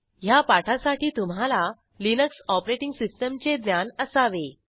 ह्या पाठासाठी तुम्हाला लिनक्स ऑपरेटिंग सिस्टीमचे ज्ञान असावे